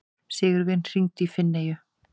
Sigurvin, hringdu í Finneyju.